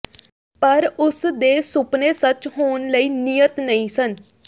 ਪਰ ਉਸ ਦੇ ਸੁਪਨੇ ਸੱਚ ਹੋਣ ਲਈ ਨਿਯਤ ਨਹੀਂ ਸਨ